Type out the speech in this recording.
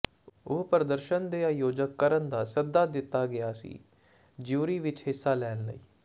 ਉਹ ਪ੍ਰਦਰਸ਼ਨ ਦੇ ਆਯੋਜਕ ਕਰਨ ਦਾ ਸੱਦਾ ਦਿੱਤਾ ਗਿਆ ਸੀ ਜਿਊਰੀ ਵਿਚ ਹਿੱਸਾ ਲੈਣ ਲਈ